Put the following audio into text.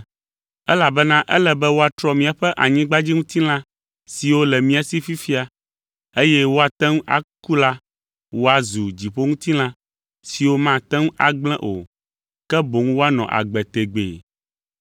Elabena ele be woatrɔ míaƒe anyigbadziŋutilã siwo le mía si fifia, eye woate ŋu aku la woazu dziƒoŋutilã siwo mate ŋu agblẽ o, ke boŋ woanɔ agbe tegbee.